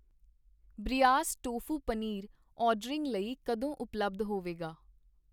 ਬ੍ਰਿਯਾਸ tofu paneer ordering ਲਈ ਕਦੋਂ ਉਪਲੱਬਧ ਹੋਵੇਗਾ?